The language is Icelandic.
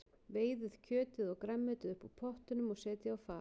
Veiðið kjötið og grænmetið upp úr pottinum og setjið á fat.